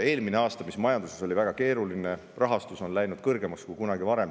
Eelmine aasta oli küll majanduses väga keeruline, aga rahastus on läinud kõrgemaks kui kunagi varem.